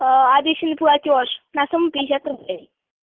обещанный платёж на сумму пятьдесят рублей